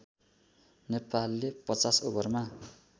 नेपालले ५० ओभरमा